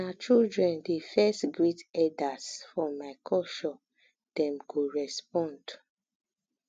na children dey first greet eldas for my culture dem go respond